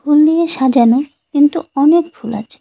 ফুল দিয়ে সাজানো কিন্তু অনেক ফুল আছে।